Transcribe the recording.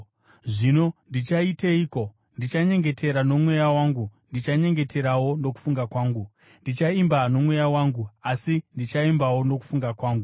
Zvino ndichaiteiko? Ndichanyengetera nomweya wangu, ndichanyengeterawo nokufunga kwangu; ndichaimba nomweya wangu, asi ndichaimbawo nokufunga kwangu.